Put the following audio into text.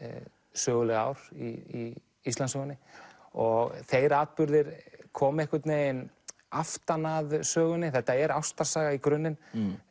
söguleg ár í Íslandssögunni og þeir atburðir koma einhvern veginn aftan að sögunni þetta er ástarsaga í grunninn